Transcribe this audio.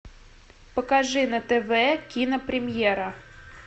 покажи на тв кинопремьера